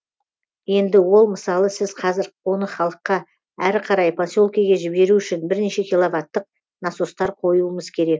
енді ол мысалы сіз қазір оны халыққа әрі қарай поселкеге жіберу үшін бірнеше киловаттық насостар қоюымыз керек